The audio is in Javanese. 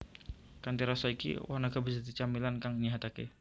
Kanthi rasa iki woh naga bisa dadi camilan kang nyéhataké